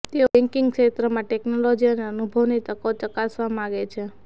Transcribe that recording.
તેઓ બેન્કિંગ ક્ષેત્રમાં ટેક્નોલોજી અને અનુભવની તકો ચકાસવા માગે છે